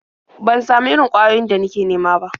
Ban samu irin ƙwayoyin da nake nema ba.